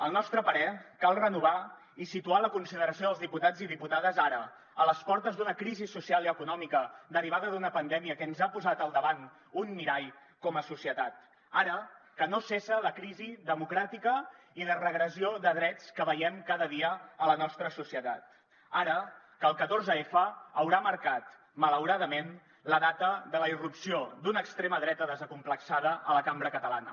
al nostre parer cal renovar i situar la consideració dels diputats i diputades ara a les portes d’una crisi social i econòmica derivada d’una pandèmia que ens ha posat al davant un mirall com a societat ara que no cessa la crisi democràtica i de regressió de drets que veiem cada dia a la nostra societat ara que el catorze f haurà marcat malauradament la data de la irrupció d’una extrema dreta desacomplexada a la cambra catalana